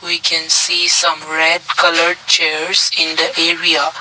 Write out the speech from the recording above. We can see some red coloured chairs in the area.